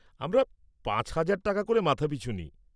আমরা পাঁচ হাজার টাকা করে মাথাপিছু নিই।